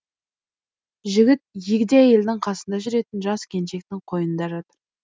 жігіт егде әйелдің қасында жүретін жас келіншектің қойнында жатыр